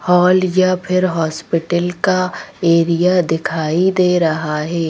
Hall या फिर hospital का एरिया दिखाई दे रहा है।